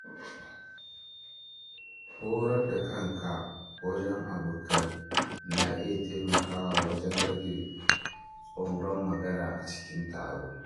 Horar da kanka wajen abokai na iya taimakawa wajen rage tsoron magana a cikin taro.